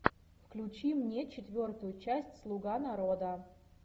включи мне четвертую часть слуга народа